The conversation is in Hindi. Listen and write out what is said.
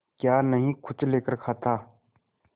क्या नहीं कुछ लेकर खाता